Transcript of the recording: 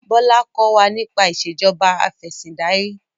Bola kọ wá nípa Ìṣèjọba Afẹ̀sìndarí